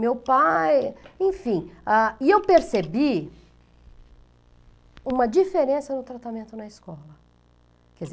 Meu pai... Enfim, ah, e eu percebi uma diferença no tratamento na escola.